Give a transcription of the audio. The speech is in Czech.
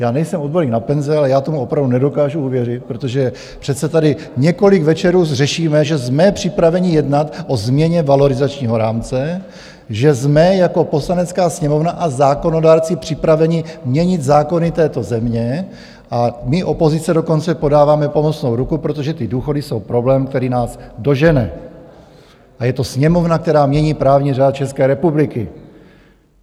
Já nejsem odborník na penze, ale já tomu opravdu nedokážu uvěřit, protože přece tady několik večerů řešíme, že jsme připraveni jednat o změně valorizačního rámce, že jsme jako Poslanecká sněmovna a zákonodárci připraveni měnit zákony této země - a my, opozice, dokonce podáváme pomocnou ruku, protože ty důchody jsou problém, který nás dožene, a je to Sněmovna, která mění právní řád České republiky.